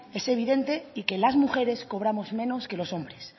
es evidente y que las mujeres cobramos menos que los hombres